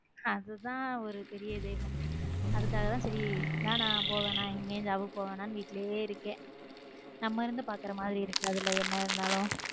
அதுதான் ஒரு பெரிய இது அதுக்காக தான் பெரியது வேணாம் போ வேணாம் எங்கேயும் job க்கு போவேனா வீட்ல இருக்கேன் நம்ம இருந்து பார்க்கிற மாதிரி இருக்கு அதுல என்ன இருந்தாலும்.